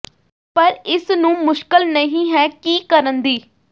ਪਰ ਇਸ ਨੂੰ ਮੁਸ਼ਕਲ ਨਹੀ ਹੈ ਕੀ ਕਰਨ ਦੀ